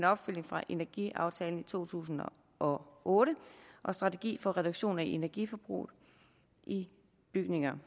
opfølgning på energiaftalen fra to tusind og otte og strategi for reduktion af energiforbruget i bygninger